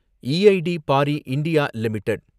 EID Parry India limited